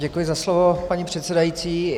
Děkuji za slovo, paní předsedající.